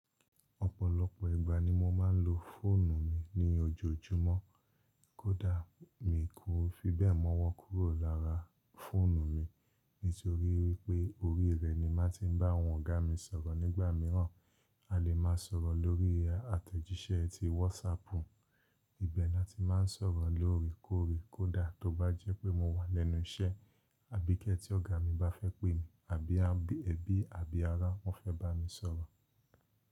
Ọ̀pọ̀lọpọ̀ ìgbà ni mo máa ń lo fóònù mi ní ojoojúmọ́, kódà mi kò fi bẹ́ẹ̀ mọ́wọ́ kúrò lára fóònù mi nítorí wípé orí rẹ̀ ni màá ti ń bá àwọn ọ̀gá mi sọ̀rọ̀ nígbà mìíràn, a lè máa sọ̀rọ̀ lórí àtẹ̀jíṣẹ́ ti WhatsApp, ibẹ̀ ni a ti máa ń sọ̀rọ̀ lóore kóòré, kódà tó bá jẹ́ pé mo wà lẹ́nu iṣẹ́ àbí kẹ́ tí ọ̀gá mi bá fẹ́ pé mi àbí ẹbí àbí ará wọ́n fẹ́ bá mi sọ̀rọ̀.